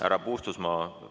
Härra Puustusmaa!